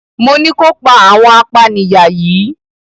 Mo ní kó pa àwọn apanìyà yìí!